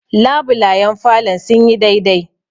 labulayen falon sun yi dai dai